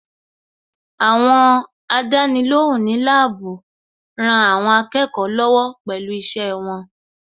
Àwọn Àdánilóhùn ní láàbù rán àwọn akẹ́kọ̀ọ́ lọ́wọ́ pẹ̀lú iṣẹ́ wọn